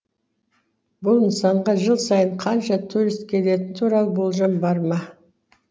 бұл нысанға жыл сайын қанша турист келетіні туралы болжам бар ма